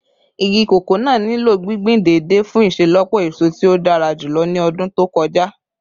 Igi koko naa nilo gbingbin deede fun iṣelọpọ eso ti o dara julọ ni ọdun to kọja